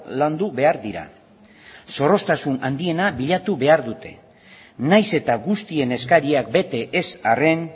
landu behar dira zorroztasun handiena bilatu behar dute nahiz eta guztien eskariak bete ez arren